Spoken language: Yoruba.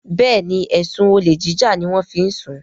Béèni ẹsùn olè jíjà ní wón fí ń sún